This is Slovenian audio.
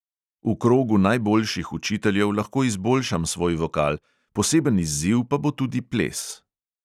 V krogu najboljših učiteljev lahko izboljšam svoj vokal, poseben izziv pa bo tudi ples.